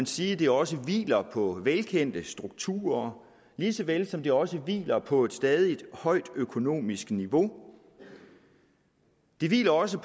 sige at det også hviler på velkendte strukturer lige så vel som det også hviler på et stadig højt økonomisk niveau det hviler også